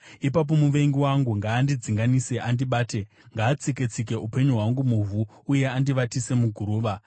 ipapo muvengi wangu ngaandidzinganise andibate; ngaatsike-tsike upenyu hwangu muvhu uye andivatise muguruva.